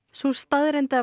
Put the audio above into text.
sú staðreynd að